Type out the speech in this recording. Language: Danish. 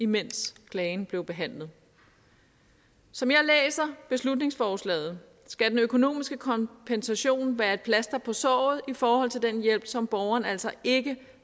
mens klagen blev behandlet som jeg læser beslutningsforslaget skal den økonomiske kompensation være et plaster på såret i forhold til den hjælp som borgeren altså ikke